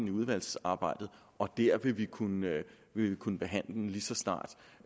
i udvalgsarbejdet og der vil vi kunne vi kunne behandle det lige så snart